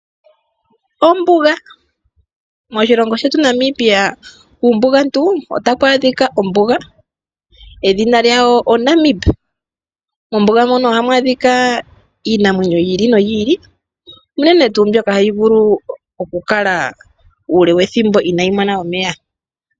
Ombuga. Moshilongo shetu Namibia kuumbugantu otaku adhika Ombuga edhina lyawo o Namib . Mombuga mono oha mu adhika iinamwenyo yi ili no yi ili, unene tuu mbyoka ha yi vulu okukala uule wethimbo inayi mona omeya.